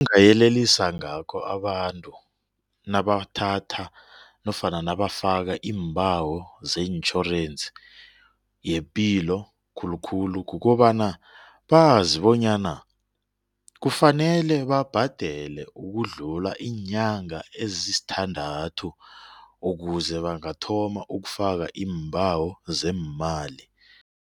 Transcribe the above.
Engayelelisa ngakho abantu nabathatha nofana nabafaka iimbawo zeentjhorensi yepilo khulukhulu kukobana bazi bonyana kufanele babhadele ukudlula iinyanga ezisithandathu ukuze bangathoma ukufaka iimbawo zeemali.